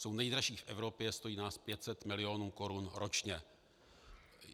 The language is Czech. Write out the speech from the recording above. Jsou nejdražší v Evropě, stojí nás 500 mil. korun ročně.